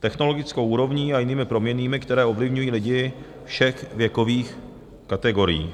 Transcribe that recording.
technologickou úrovní a jinými proměnnými, které ovlivňují lidi všech věkových kategorií.